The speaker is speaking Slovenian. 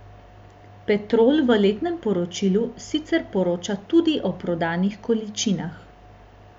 Petrol v letnem poročilu sicer poroča tudi o prodanih količinah.